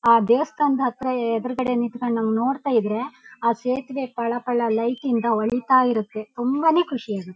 ಆ ದೇವಸ್ಥಾನದ ಹತ್ರ ಎದುರುಗಡೆ ನಿಂತ್ಕುಂಡು ನಮನ್ನ ನೋಡ್ತಾಯಿದ್ರೆ ಆ ಸುತುವೆ ಪಳ ಪಳ ಲೈಟ್ ಇಂದ ಹೊಳಿತಾ ಇರುತ್ತೆ ತುಂಬಾ ನೇ ಖುಷಿಯಾಗಿ.